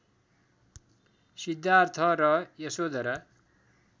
सिद्धार्थ र यशोधरा